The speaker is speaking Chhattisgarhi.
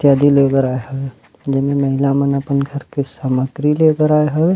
कैदी लेबर आए हवय जेमा महिला मन अपन घर के सामाग्री ले बर आए बर आए हवय।